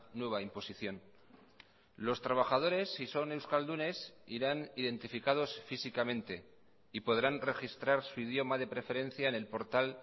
nueva imposición los trabajadores si son euskaldunes irán identificados físicamente y podrán registrar su idioma de preferencia en el portal